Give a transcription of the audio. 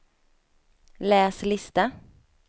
läs lista